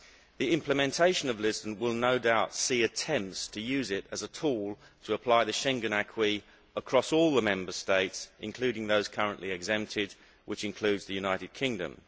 The implementation of Lisbon will no doubt see attempts to use it as a tool to apply the Schengen acquis across all the Member States, including those currently exempted, which includes the United Kingdom.